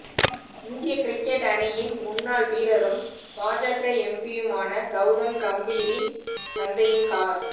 இந்திய கிரிக்கெட் அணியின் முன்னாள் வீரமும் பாஜக எம்பியுமான கௌதம் காம்பீரின் தந்தையின் கார்